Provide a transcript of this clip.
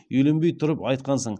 үйленбей тұрып айтқансың